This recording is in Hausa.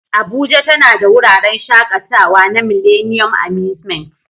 Abuja tana da wuraren shakatawa na Millennium Amusement